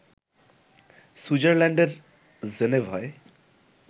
সুইজারল্যান্ডের জেনেভায়